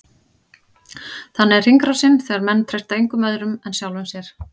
Þannig er hringrásin, þegar menn treysta engum öðrum en sjálfum sér.